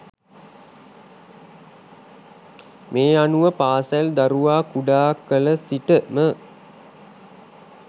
මේ අනුව පාසල් දරුවා කුඩාකල සිටම